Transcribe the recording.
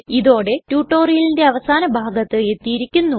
ഇതോടെ ടുടോരിയലിന്റെ അവസാന ഭാഗത്ത് എത്തിയിരിക്കുന്നു